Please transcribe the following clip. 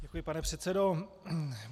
Děkuji, pane předsedo.